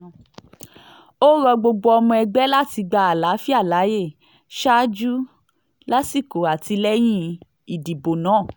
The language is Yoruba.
ó rọ gbogbo ọmọ ẹgbẹ́ láti gba àlàáfíà láàyè ṣáájú lásìkò àti lẹ́yìn ìdìbò náà